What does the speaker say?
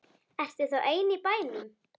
Ertu þá ein í bænum?